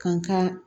Kan ka